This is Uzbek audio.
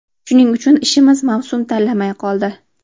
Shuning uchun ishimiz mavsum tanlamay qoldi.